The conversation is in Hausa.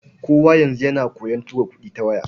Kowa yanzu yana koyon tura kuɗi ta waya.